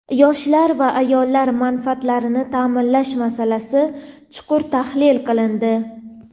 Yoshlar va ayollar manfaatlarini ta’minlash masalasi chuqur tahlil qilindi.